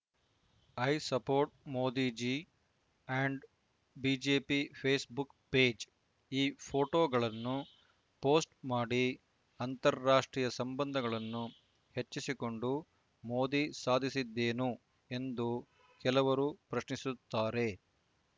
I support Modi ji and BJP Facebook page ಈ ಪೋಟೋಗಳನ್ನು ಪೋಸ್ಟ್‌ಮಾಡಿ ಅಂತಾರಾಷ್ಟ್ರೀಯ ಸಂಬಂಧಗಳನ್ನು ಹೆಚ್ಚಿಸಿಕೊಂಡು ಮೋದಿ ಸಾಧಿಸಿದ್ದೇನು ಎಂದು ಕೆಲವರು ಪ್ರಶ್ನಿಸುತ್ತಾರೆ